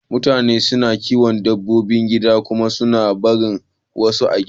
Mutane suna kiyon dabbobi gida kuma suna barin wasu a gida.